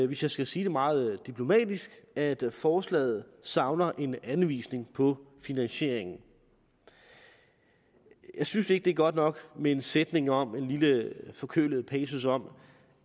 hvis jeg skal sige det meget diplomatisk at forslaget savner en anvisning på finansieringen jeg synes ikke at det er godt nok med en sætning om med en lille forkølet passus om